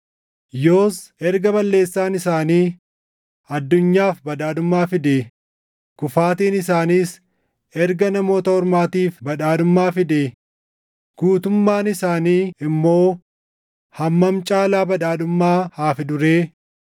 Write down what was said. Yoos erga balleessaan isaanii addunyaaf badhaadhummaa fidee, kufaatiin isaaniis erga Namoota Ormaatiif badhaadhummaa fidee, guutummaan isaanii immoo hammam caalaa badhaadhummaa haa fiduu ree?